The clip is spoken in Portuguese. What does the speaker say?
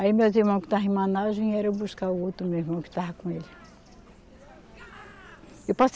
Aí meus irmãos que estavam em Manaus vieram buscar o outro meu irmão que estava com ele. Eu posso